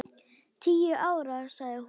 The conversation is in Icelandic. Tíu ár, sagði hún.